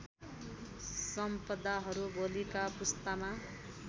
सम्पदाहरू भोलिका पुस्तामा